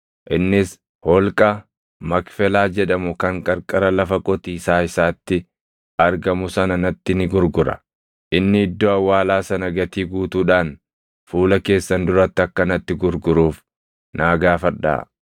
Innis holqa Makfelaa jedhamu kan qarqara lafa qotiisaa isaatti argamu sana natti ni gurgura. Inni iddoo awwaalaa sana gatii guutuudhaan fuula keessan duratti akka natti gurguruuf naa gaafadhaa.”